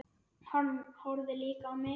Hann horfði líka á mig.